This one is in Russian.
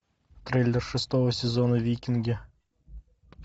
трейлер шестого сезона викинги